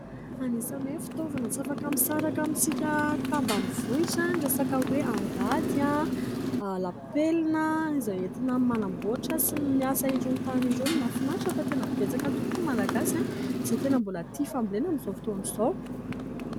Anisan'ny hoe fitaovana tsy afaka misaraka amintsika tambanivohitra ny resaka hoe angady, lapelina, izay entina manamboatra sy miasa irony tany irony. Mahafinatra fa tena betsaka tokoa ny Malagasy izay tena mbola tia fambolena amin'izao fotoana izao.